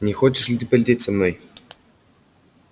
не хочешь ли ты полететь со мной